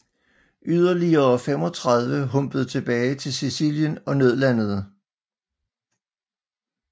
Yderligere 35 humpede tilbage til Sicilien og nødlandede